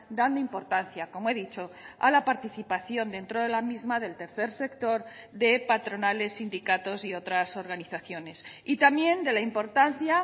dando importancia como he dicho a la participación dentro de la misma del tercer sector de patronales sindicatos y otras organizaciones y también de la importancia